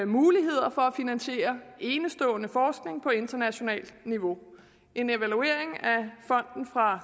muligheder for at finansiere enestående forskning på internationalt niveau en evaluering af fonden fra